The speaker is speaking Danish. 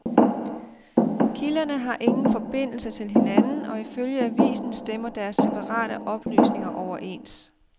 Kilderne har ingen forbindelse til hinanden, og ifølge avisen stemmer deres separate oplysninger overens.